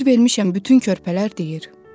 Fikir vermişəm, bütün körpələr deyir.